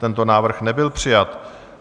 Tento návrh nebyl přijat.